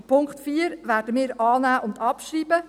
Den Punkt 4 werden wir annehmen und abschreiben.